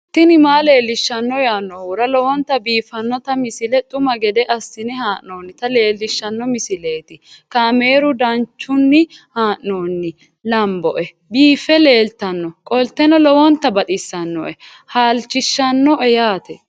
tini maa leelishshanno yaannohura lowonta biiffanota misile xuma gede assine haa'noonnita leellishshanno misileeti kaameru danchunni haa'noonni lamboe biiffe leeeltannoqolten lowonta baxissannoe halchishshanno yaate